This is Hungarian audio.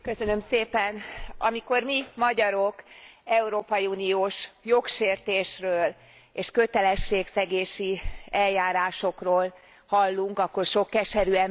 Amikor mi, magyarok európai uniós jogsértésről és kötelességszegési eljárásokról hallunk, akkor sok keserű emlék jut eszünkbe.